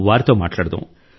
వారితో మాట్లాడదాం